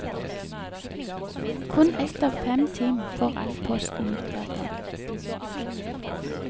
Kun ett av fem team får all posten ut hver dag.